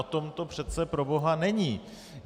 O tom to přece proboha není!